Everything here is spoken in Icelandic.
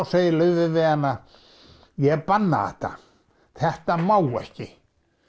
segir Laufey við hana ég banna þetta þetta má ekki